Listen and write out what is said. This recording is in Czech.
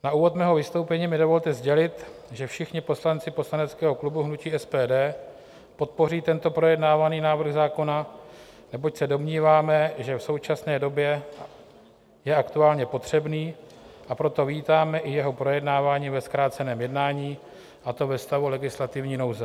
Na úvod mého vystoupení mi dovolte sdělit, že všichni poslanci poslaneckého klubu hnutí SPD podpoří tento projednávaný návrh zákona, neboť se domníváme, že v současné době je aktuálně potřebný, a proto vítáme i jeho projednávání ve zkráceném jednání, a to ve stavu legislativní nouze.